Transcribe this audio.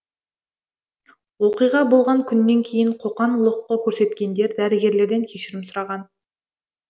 оқиға болған күннен кейін қоқан лоққы көрсеткендер дәрігерлерден кешірім сұраған